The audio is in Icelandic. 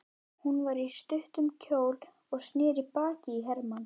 Hún var í stuttum kjól og sneri baki í Hermann.